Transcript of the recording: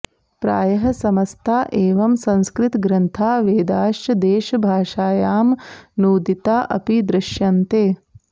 प्रायः समस्ता एवं संस्कृतग्रन्थाः वेदाश्च देशभाषायामनूदिता अपि दृश्यन्ते